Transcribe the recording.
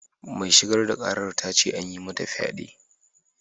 Mai shigar da ƙarar ta ce an yi mata fyade.